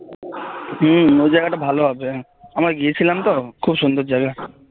হম ওই জায়গাটা ভালো হবে আমরা গিয়েছিলাম তো খুব সুন্দর জায়গা